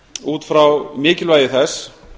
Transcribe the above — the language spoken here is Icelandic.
út frá mikilvægi þess